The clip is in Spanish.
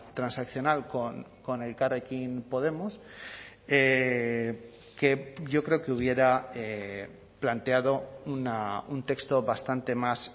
transaccional con elkarrekin podemos que yo creo que hubiera planteado un texto bastante más